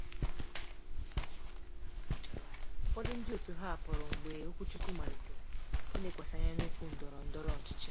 Ụfọdụ ndị otu hapụrụ mgbe okwuchukwu malitere ilekwasị anya na okwu ndọrọ ndọrọ ọchịchị.